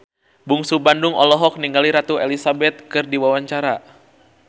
Bungsu Bandung olohok ningali Ratu Elizabeth keur diwawancara